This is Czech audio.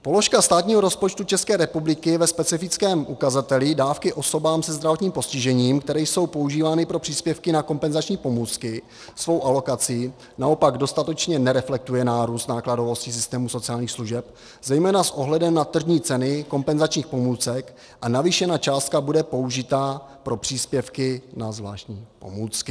Položka státního rozpočtu České republiky ve specifickém ukazateli dávky osobám se zdravotním postižením, které jsou používány pro příspěvky na kompenzační pomůcky, svou alokací naopak dostatečně nereflektuje nárůst nákladovosti systému sociálních služeb, zejména s ohledem na tržní ceny kompenzačních pomůcek, a navýšená částka bude použita na příspěvky na zvláštní pomůcky.